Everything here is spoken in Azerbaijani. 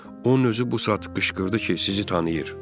Onun özü bu saat qışqırdı ki, sizi tanıyır.